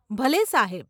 ભલે, સાહેબ.